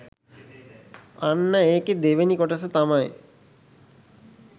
අන්න ඒකෙ දෙවෙනි කොටස තමයි